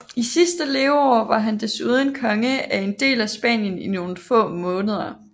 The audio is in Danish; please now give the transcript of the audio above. I sit sidste leveår var han desuden konge af en del af Spanien i nogle få måneder